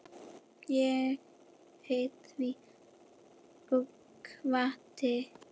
Ég hét því og kvaddi.